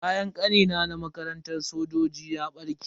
Kayan Kanina na makarantar sojoji ya barke.